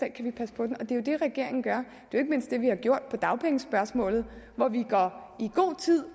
den og det regeringen gør det er ikke mindst det vi har gjort i dagpengespørgsmålet hvor vi i god tid